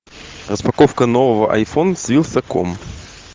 распаковка нового айфон с вилсаком